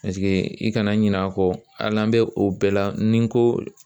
i kana ɲina a kɔ hali n'an bɛ o bɛɛ la ni n ko